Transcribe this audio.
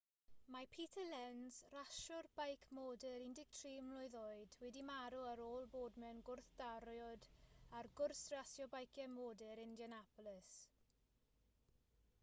mae peter lenz rasiwr beic modur 13 mlwydd oed wedi marw ar ôl bod mewn gwrthdrawiad ar gwrs rasio beiciau modur indianapolis